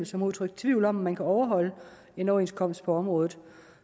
som udtrykte tvivl om hvorvidt man kan overholde en overenskomst på området